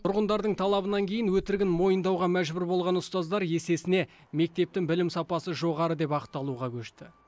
тұрғындардың талабынан кейін өтірігін мойындауға мәжбүр болған ұстаздар есесіне мектептің білім сапасы жоғары деп ақталуға көшті